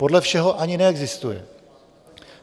Podle všeho ani neexistuje.